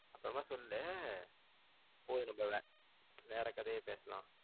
அப்றோமா சொல்லு இப்போ நம்ம வேற கதைய பேசலாம்